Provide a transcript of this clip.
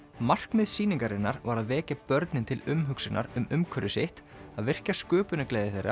markmið sýningarinnar var að vekja börnin til umhugsunar um umhverfi sitt að virkja sköpunargleði þeirra